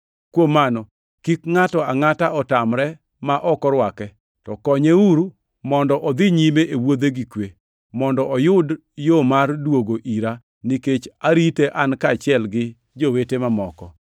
Kuom mano, kik ngʼato angʼata otamre ma ok orwake, to konyeuru mondo odhi nyime e wuodhe gi kwe, mondo oyud yo mar duogo ira nikech arite en kaachiel gi jowete mamoko.